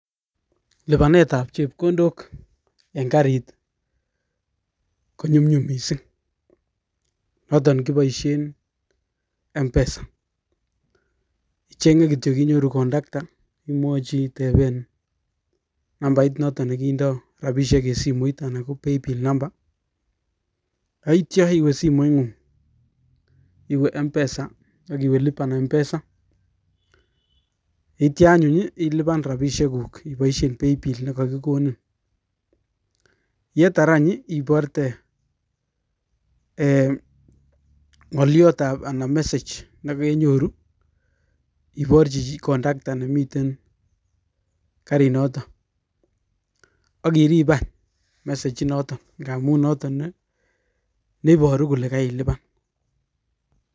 Lipaneet ap.chepkondok Eng karit notok kipaishee Eng mpesa ,yonitet kepaishee notok kelipan chepkondok iparchini (conductor) nemitei garit notok neparu kolee kakelipan